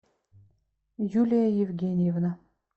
юлия евгеньевна